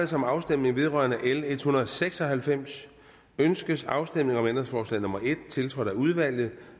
sig om afstemning vedrørende lovforslag l en hundrede og seks og halvfems ønskes afstemning om ændringsforslag nummer en tiltrådt af udvalget